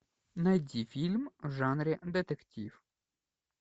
найди фильм в жанре детектив